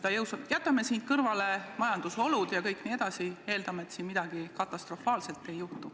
Jätame siin kõrvale majandusolud ja kõik nii edasi, eeldame, et midagi katastroofaalset ei juhtu.